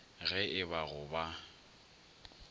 ge e ba go ba